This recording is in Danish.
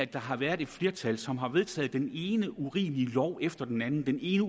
der har været et flertal som har vedtaget den ene urimelige lov efter den anden den ene